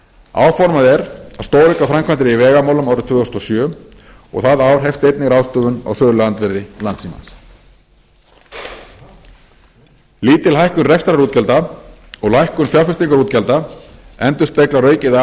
áformað er að stórauka framkvæmdir í vegamálum árið tvö þúsund og sjö og það ár hefst einnig ráðstöfun á söluandvirði landssímans lítil hækkun rekstrarútgjalda og lækkun fjárfestingaútgjalda endurspeglar aukið aðhald